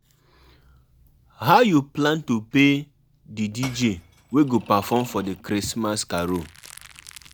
If na holiday you dey you dey plan with friends, no drink too much